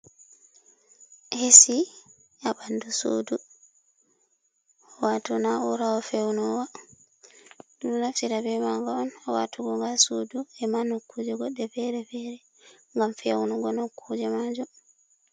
Hesi abandu sudu watuna urawo fewnowa du naftita be maga on watugoga sudu e manu kuje goɗɗe fere fere gam fewnugo no kuje majom.